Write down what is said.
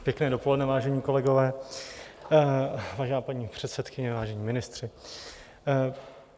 Pěkné dopoledne, vážení kolegové, vážená paní předsedkyně, vážení ministři.